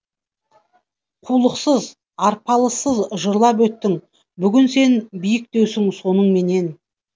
қулықсыз арпалыссыз жырлап өттің бүгін сен биіктеусің соныңменен